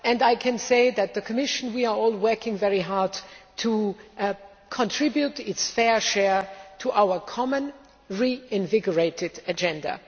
In the Commission we are all working very hard to contribute our fair share to our common reinvigorated agenda.